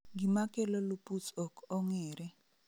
Gima kelo lupus ok ong'ere